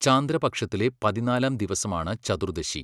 ചാന്ദ്രപക്ഷത്തിലെ പതിനാലാം ദിവസമാണ് ചതുർദശി.